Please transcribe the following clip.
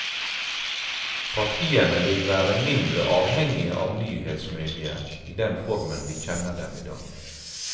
Partiene vil være mindre avhengige av nyhetsmedier i den formen vi kjenner dem i dag.